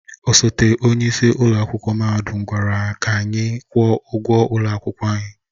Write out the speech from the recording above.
Osote onye isi ụlọ akwụkwọ mahadum gwara anyị ka anyị kwụọ ụgwọ ụlọ akwụkwọ anyị.